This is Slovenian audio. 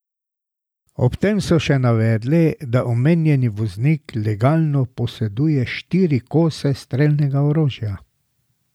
Ob tem so še navedli, da omenjeni voznik legalno poseduje štiri kose strelnega orožja.